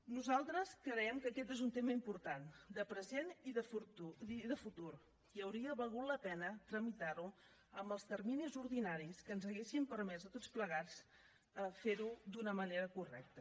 nosaltres creiem que aquest és un tema important de present i de futur i hauria valgut la pena tramitar ho amb els terminis ordinaris que ens haurien permès a tots plegats fer ho d’una manera correcta